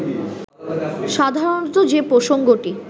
সাধারণত যে প্রসঙ্গটি